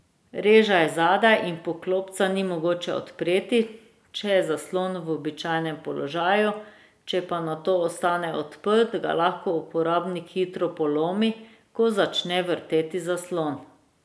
Reža je zadaj in poklopca ni mogoče odpreti, če je zaslon v običajnem položaju, če pa nato ostane odprt, ga lahko uporabnik hitro polomi, ko začne vrteti zaslon.